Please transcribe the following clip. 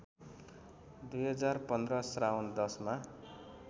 २०१५ श्रावण १०मा